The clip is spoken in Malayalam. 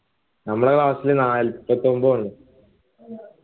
നമ്മളെ class ൽ നാല്പത്തൊമ്പത് ഉള്ളു